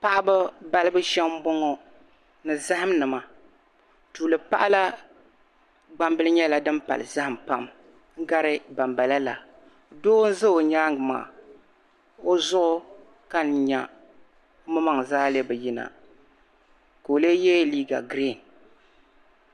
paɣa ba balibu shɛm m bɔŋɔ ni zaham nima tuuli paɣa la gbambili nyɛla din pali zahim pam n gari ban bala la doo n za o nyaaga maa o zuɣu ka n nya o maŋ maŋ zaa lee bi yi na ka o lee ye liiga girin